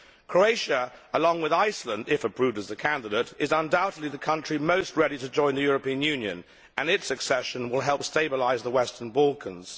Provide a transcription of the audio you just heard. Croatia, along with Iceland if approved as a candidate is undoubtedly the country most ready to join the European Union, and its accession will help stabilise the Western Balkans.